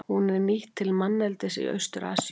Hún er nýtt til manneldis í Austur-Asíu.